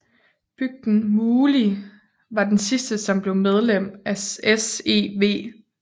Bygden Múli var den sidste som blev medlem af SEV